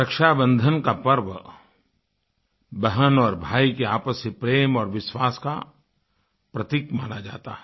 रक्षाबंधन का पर्व बहन और भाई के आपसी प्रेम और विश्वास का प्रतीक माना जाता है